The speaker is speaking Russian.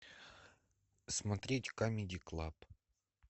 смотреть камеди клаб